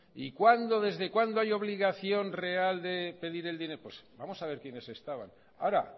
y desde cuándo hay obligación real de pedir el dinero pues vamos a ver quiénes estaban ahora